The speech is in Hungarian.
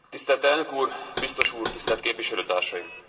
Tisztelt Elnök Úr, Biztos Úr, tisztelt Képviselőtársaim!